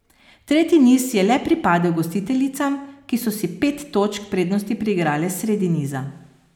Tretji niz je le pripadel gostiteljicam, ki so si pet točk prednosti priigrale sredi niza.